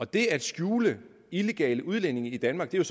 det at skjule illegale udlændinge i danmark er